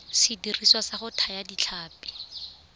sediriswa sa go thaya ditlhapi